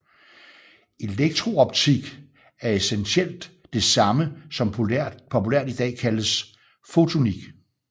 Elektrooptik er essentielt det samme som populært i dag kaldes fotonik